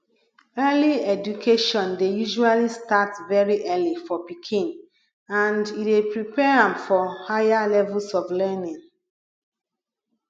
early education dey usually start very early for pikin and e dey prepare am for higher levels pf learning